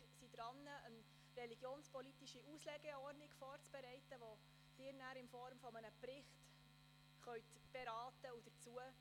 Wir bereiten derzeit eine religionspolitische Auslegeordnung vor, die Sie in Form eines Berichts beraten werden können.